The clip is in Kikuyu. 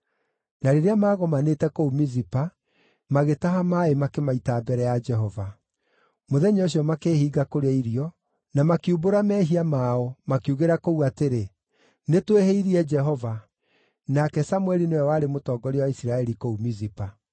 Na rĩrĩa maagomanĩte kũu Mizipa, magĩtaha maaĩ makĩmaita mbere ya Jehova. Mũthenya ũcio makĩĩhinga kũrĩa irio, na makiumbũra mehia mao makiugĩra kũu atĩrĩ, “Nĩ twĩhĩirie Jehova.” Nake Samũeli nĩwe warĩ mũtongoria wa Isiraeli kũu Mizipa.